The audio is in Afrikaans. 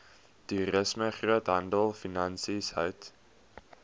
toerisme groothandelfinansies hout